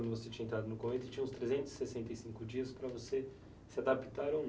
quando você tinha entrado no convento, você tinha os trezentos e sessenta e cinco dias para você se adaptar ou não.